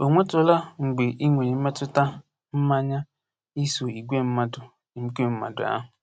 O nwetụla mgbe ị nwere mmetụta mmanya iso igwe mmadụ igwe mmadụ ahụ.